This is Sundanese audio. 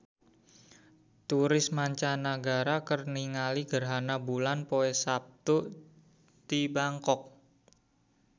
Turis mancanagara keur ningali gerhana bulan poe Saptu di Bangkok